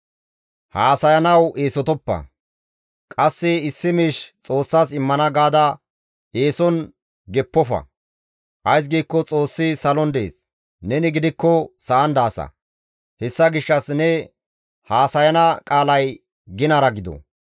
Haasayanawu eesotoppa; qasse issi miish Xoossas immana gaada eeson geppofa; ays giikko Xoossi salon dees; neni gidikko sa7an daasa; hessa gishshas ne haasayana qaalay ginara gido.